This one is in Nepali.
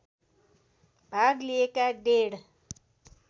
भाग लिएका डेढ